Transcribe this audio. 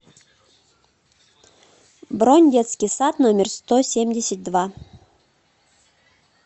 бронь детский сад номер сто семьдесят два